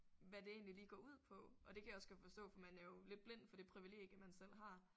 Hvad det egentlig lige går ud på og det kan jeg også godt forstå for man er jo lidt blind for det privilegium man selv har